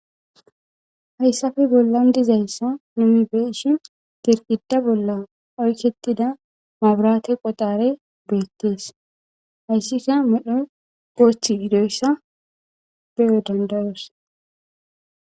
Hayssafe bollan dizayssa nimibeshi dirgida bolla oykketida maburaate qotare beettees hayssika medho posthiidoyssa be7e dandayos.